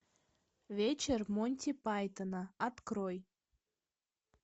вечер монти пайтона открой